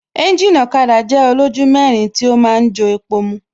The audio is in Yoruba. Ẹ́ńjìnì ọ̀kada jẹ́ olójú mẹ́rin tí ó ma ń jo epo mu